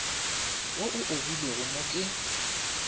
wo o obilwego mo ke